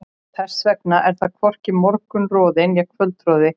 Þess vegna er þar hvorki morgunroði né kvöldroði.